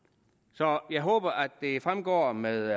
så jeg håber at det fremgår med